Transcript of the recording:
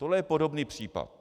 Tohle je podobný případ.